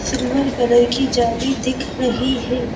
Silver colour की जाली दिख रही है।